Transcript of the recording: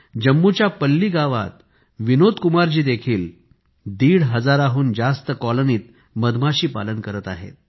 जम्मूच्या पल्ली गावात विनोद कुमारजी देखील दीड हजाराहून जास्त कॉलनीत मध माशी पालन करत आहेत